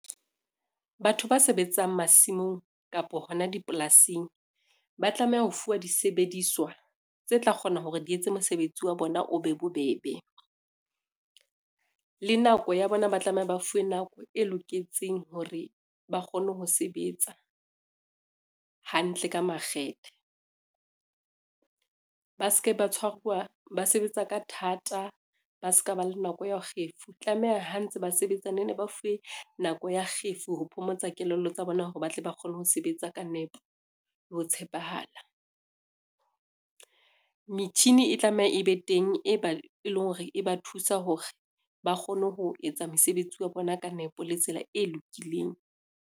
Batho ba sebetsang masimong kapo hona dipolasing, ba tlameha ho fuwa disebediswa tse tla kgona hore di etse mosebetsi wa bona o be bobebe. Le nako ya bona ba tlameha ba fuwe nako e loketseng hore ba kgone ho sebetsa hantle ka makgethe, ba ske ba sebetsa ka thata, ba ska ba le nako ya kgefu, tlameha ha ntse ba sebetsa ne ne ba fuwe nako ya kgefu ho phomotsa kelello tsa bona hore ba tle ba kgone ho sebetsa ka nepo le ho tshepahala. Metjhini e tlameha e be teng e ba e leng hore e ba thusa hore, ba kgone ho etsa mosebetsi wa bona ka nepo le tsela e lokileng.